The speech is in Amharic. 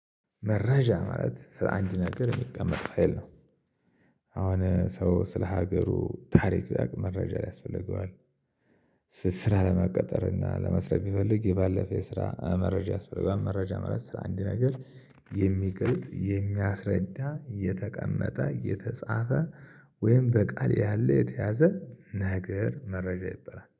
መረጃ ማለት ስለአንድ ነገር የሚቀመጥ ፋይል ነው። አሁን ሰው ስለ ሀገሩ ታሪክ ሊያውቅ መረጃ ያስፈልገዋል። ስራ ለመቀጠር እና ለመስራት ቢፈልግ የባለፈ የስራ መረጃ ያስፈልገዋል። መረጃ ማለት ስለአንድ ነገር የሚገልጽ የሚያስረዳ የተቀመጠ የተጻፈ ወይም በቃል ያለ የተያዘ ነገር መረጃ ይበላል